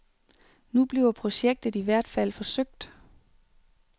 Nu bliver projektet i hvert fald forsøgt.